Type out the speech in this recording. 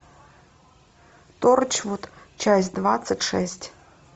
торчвуд часть двадцать шесть